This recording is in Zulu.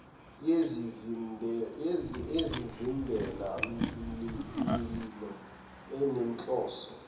yezivimbela mililo enenhloso